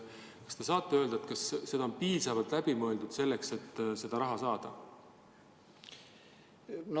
Kas te saate öelda, kas kõik on piisavalt läbi mõeldud, selleks et seda raha saada?